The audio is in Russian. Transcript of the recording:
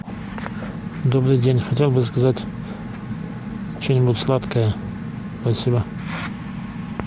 добрый день хотел бы заказать что нибудь сладкое спасибо